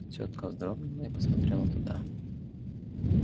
тётка вздрогнула и посмотрела туда